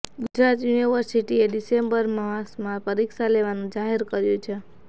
ગુજરાત યુનિવર્સિટીએ ડિસેમ્બર માસમાં પરીક્ષા લેવાનું જાહેર કર્યું છે